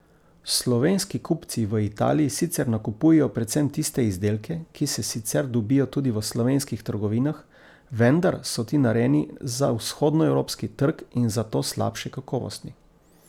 Slovenski kupci v Italiji sicer nakupujejo predvsem tiste izdelke, ki se sicer dobijo tudi v slovenskih trgovinah, vendar so ti narejeni za vzhodnoevropski trg in zato slabše kakovosti.